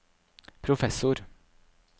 professor